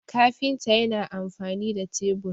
kafinta yana amfani da tebur